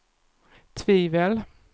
tvivel